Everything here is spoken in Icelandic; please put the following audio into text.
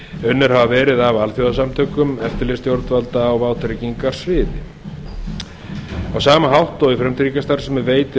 unnir hafa verið af alþjóðasamtökum eftirlitsstjórnvalda á vátryggingasviði á sama hátt og í frumtryggingastarfsemi veitir